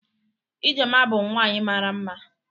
Ijeoma bụ nwaanyi mara mma.